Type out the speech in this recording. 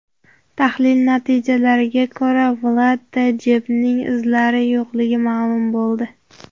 Tahlil natijalariga ko‘ra Vladda Jebning izlari yo‘qligi ma’lum bo‘ldi.